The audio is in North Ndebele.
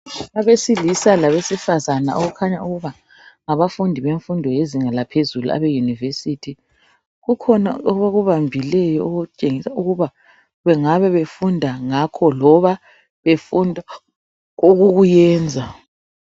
Abesilisa labesifazana okukhanya ukuba ngabafundi bemfundo yezinga laphezulu abeyunivesithi. Kukhona abakubambileyo okutshengisa ukuba bengabe befunda ngakho loba befunda ukukuyenza.